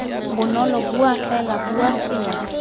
bonolo bua fela bua sengwe